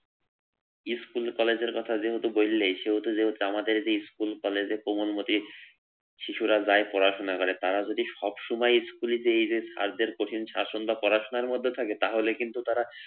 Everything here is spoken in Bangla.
স্কুল কলেজের কথা যেহেতু বললেই সেহেতু যেহেতু আমাদের যে স্কুল কলেজে প্রবন্ধটি ছোঁড়া যায় শিশুরা যায় পড়াশোনা করে তারা যদি সবসময় স্কুলে এই যে স্যারদের কঠোর পড়াশোনার মধ্যে থাকে তাহলে কিন্তু তারা,